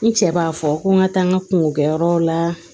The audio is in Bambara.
N cɛ b'a fɔ ko n ka taa n ka kungo kɛ yɔrɔw la